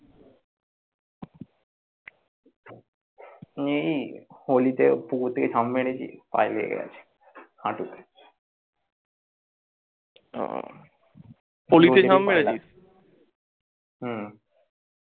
এই holi তে পুকুর থেকে ঝাপ মেরেছি পায়ে লেগে গেছে, হাঁটুতে। হম